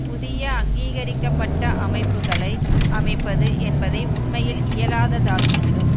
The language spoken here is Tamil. புதிய அங்கீகரிக்க பட்ட அமைப்புக்களை அமைப்பது என்பதை உண்மையில் இயலாததாக்கிவிடும்